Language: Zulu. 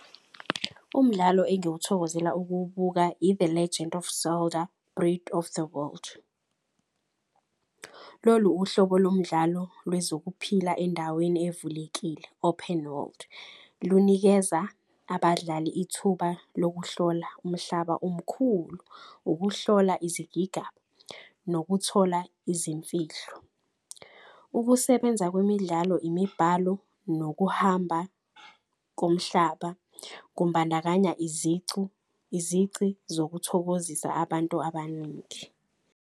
Umdlalo engiwuthokozela uwukubuka i-the Legend of Zelda Breath of the World. Lolu uhlobo lomdlalo lwezokuphila endaweni evulekile, open world, lunikeza abadlali ithuba lokuhlola umhlaba omkhulu. Ukuhlola izigigaba nokuthola izimfihlo, ukusebenza kwemidlalo, imibhalo nokuhamba komhlaba. Kumbandakanya izici zokuthokozisa abantu abaningi.